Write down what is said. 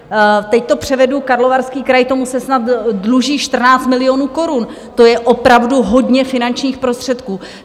Teď to převedu, Karlovarský kraj, tomu se snad dluží 14 milionů korun, to je opravdu hodně finančních prostředků.